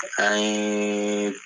An yee